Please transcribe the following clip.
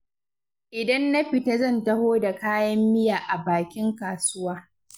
Idan na fita zan taho da kayan miya a bakin kasuwa.